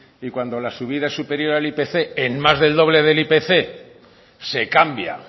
y cuando la subida superior al ipc en más del doble del ipc se cambia